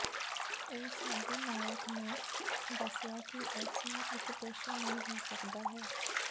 ਉਹ ਸਾਡੇ ਨਾਇਕ ਨੇ ਦੱਸਿਆ ਕਿ ਇਸ ਨੂੰ ਇੱਕ ਪੇਸ਼ੇ ਨਹੀ ਹੋ ਸਕਦਾ ਹੈ